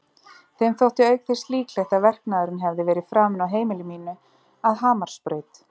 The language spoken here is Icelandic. Þeim þótti auk þess líklegt að verknaðurinn hefði verið framinn á heimili mínu að Hamarsbraut.